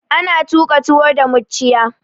Ana tuƙa tuwo da mucciya.